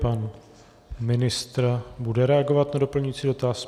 Pan ministr bude reagovat na doplňující dotaz.